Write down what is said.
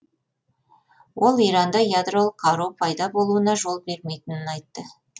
ол иранда ядролық қару пайда болуына жол бермейтінін айтты